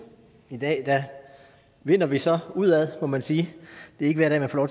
i dag vinder vi så udad må man sige det er ikke hver dag man får